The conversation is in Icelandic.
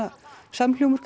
samhljómur